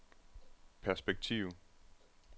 perspektiv